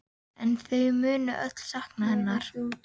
En þau munu öll sakna hennar.